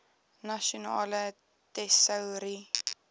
nasionale tesourie